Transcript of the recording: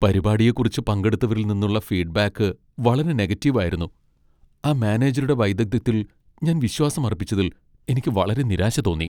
പരിപാടിയെക്കുറിച്ച് പങ്കെടുത്തവരിൽ നിന്നുള്ള ഫീഡ്ബാക്ക് വളരെ നെഗറ്റീവ് ആയിരുന്നു , ആ മാനേജരുടെ വൈദഗ്ധ്യത്തിൽ ഞാൻ വിശ്വാസം അർപ്പിച്ചതിൽ എനിക്ക് വളരെ നിരാശ തോന്നി.